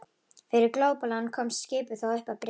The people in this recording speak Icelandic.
Fyrir glópalán komst skipið þó upp að bryggju.